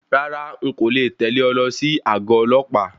Rárá,n kò le tẹ̀lẹ́ ọ lọ sí àgọ ọlọ́pàá.